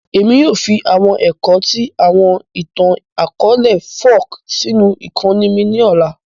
Èmi yoo fi àwọn ẹ̀kọ́ ti àwọn ìtàn-akọọlẹ folk sínú ìkóni mi ni ọ̀la